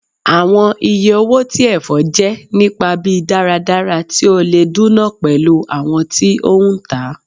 Awọn iye owo ti ẹfọ jẹ nipa bi daradara ti o le duna pẹlu awọn ti o ntaa